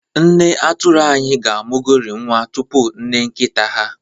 Nne atụrụ anyị ga-amụgori nwa tupu nne nkita ha.